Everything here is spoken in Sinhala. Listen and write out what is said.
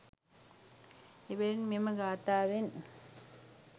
එබැවින් මෙම ගාථාවෙන්